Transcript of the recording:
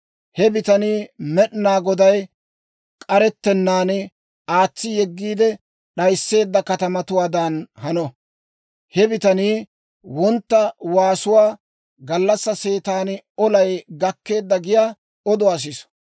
He bitanii Med'inaa Goday k'arettennaan aatsi yeggiide d'ayisseedda katamatuwaadan hano. He bitanii wontta waasuwaa, gallassaa seetan, «Olay gakkeedda!» giyaa oduwaa siso.